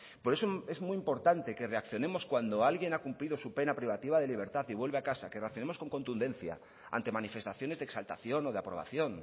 por eso es muy importante que reaccionemos cuando alguien ha cumplido su pena privativa de libertad y vuelve a casa que reaccionemos con contundencia ante manifestaciones de exaltación o de aprobación